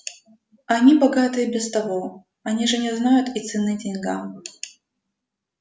они богаты и без того они же не знают и цены деньгам